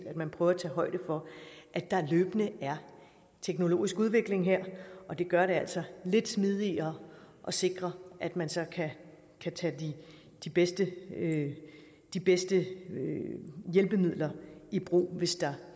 at man prøver at tage højde for at der løbende er teknologisk udvikling her og det gør det altså lidt smidigere at sikre at man så kan tage de bedste de bedste hjælpemidler i brug hvis der